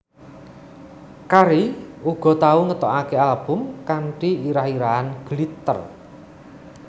Carey uga tau ngetokake album kanthi irah irahan Glitter